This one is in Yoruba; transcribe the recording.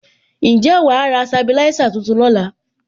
Ǹjẹ́ wàá ra sabilisa tuntun lóla?